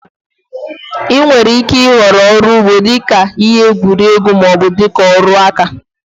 Ị nwèrè ike ị họrọ ọrụ ugbo dika họbị maọbụ dịka ọrụ aka